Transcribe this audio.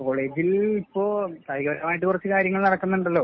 കോളേജിൽ ഇപ്പോ കായികപരമായിട്ട് കൊറച്ച് കാര്യങ്ങൾ നടക്കുന്നുണ്ടല്ലോ.